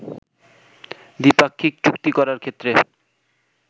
দ্বিপাক্ষিক চুক্তি করার ক্ষেত্রে